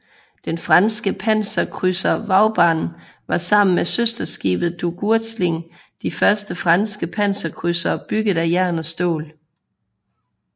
Den franske panserkrydser Vauban var sammen med søsterskibet Duguesclin de første franske panserkrydsere bygget af jern og stål